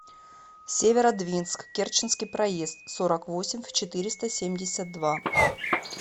северодвинск керченский проезд сорок восемь в четыреста семьдесят два